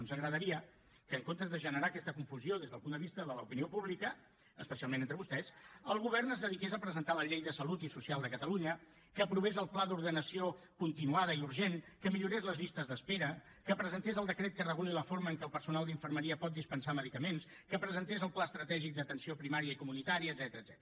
ens agradaria que en comptes de generar aquesta confusió des del punt de vista de l’opinió pública especialment entre vostès el govern es dediqués a presentar la llei de salut i social de catalunya que aprovés el pla d’ordenació continuada i urgent que millorés les llistes d’espera que presentés el decret que reguli la forma en què el personal d’infermeria pot dispensar medicaments que presentés el pla estratègic d’atenció primària i comunitària etcètera